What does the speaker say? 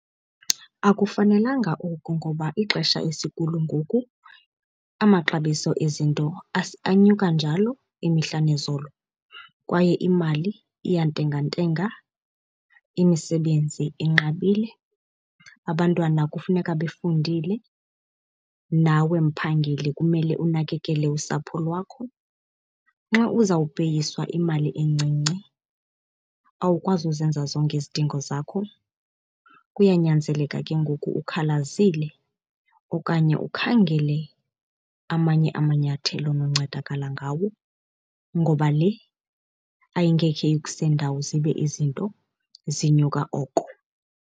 Akufanelanga oku ngoba ixesha esikulo ngoku amaxabiso ezinto anyuka njalo imihla nezolo kwaye imali iya ntengentenga. Imisebenzi inqabile, abantwana kufuneka befundile nawe mphangeli kumele unakekele usapho lwakho. Xa uzawupeyiswa imali encinci awukwazi uzenza zonke izidingo zakho. Kuyanyanzeleka ke ngoku ukhalazile okanye ukhangele amanye amanyathelo ononcedakala ngawo ngoba le ayingekhe ikuse ndawo zibe izinto zinyuka oko.